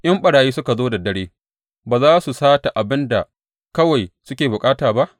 In ɓarayi suka zo da dare, ba za su sata abin da kawai suke bukata ba?